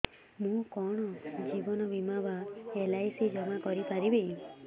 ମୁ କଣ ଜୀବନ ବୀମା ବା ଏଲ୍.ଆଇ.ସି ଜମା କରି ପାରିବି